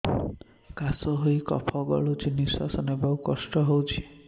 କାଶ ହେଇ କଫ ଗଳୁଛି ନିଶ୍ୱାସ ନେବାକୁ କଷ୍ଟ ହଉଛି